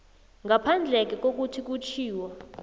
ngaphandleke kokuthi kutjhiwo